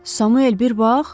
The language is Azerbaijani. Samuel, bir bax!